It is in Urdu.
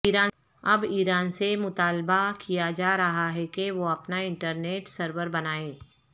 اب ایران سے مطالبہ کیا جا رہا ہے کہ وہ اپنا انٹرنیٹ سرور بنائے